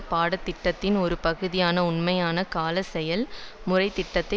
பாட திட்டத்தின் ஒரு பகுதியான உண்மையான கால செயல்முறைத்திட்டத்தை